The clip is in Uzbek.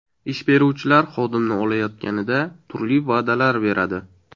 Ish beruvchilar xodimni olayotganida turli va’dalar beradi.